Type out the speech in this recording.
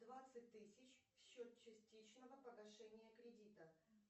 двадцать тысяч в счет частичного погашения кредита